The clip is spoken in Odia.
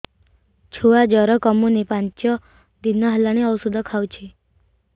ଛୁଆ ଜର କମୁନି ପାଞ୍ଚ ଦିନ ହେଲାଣି ଔଷଧ ଖାଉଛି